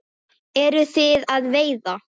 Eruð þið að veiða?